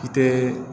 I te